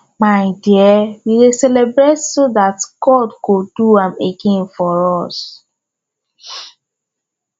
my dear we dey celebrate so dat god go do am again for us